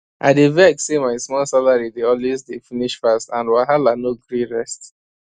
i dey vex say my small salary de always dey finish fast and wahala no gree rest